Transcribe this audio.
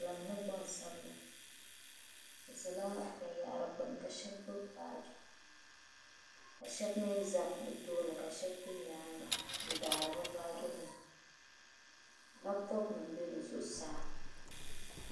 Gban piɛla mini gban sabila bi ʒala bi n yara gbuni ka shabi gbubifaali ka shabiʒa bi tooni ka shabi ʒɛ bɛ nyaaŋa n faari bi baaji nima, laptop nim be bɛ zuɣu saa.